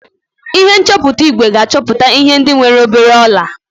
Ihe nchọpụta igwe ga-achọpụta ihe ndị nwere obere ọla